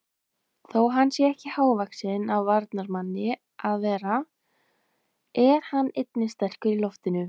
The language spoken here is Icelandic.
Þó hann sé ekki hávaxinn af varnarmanni að vera er hann einnig sterkur í loftinu.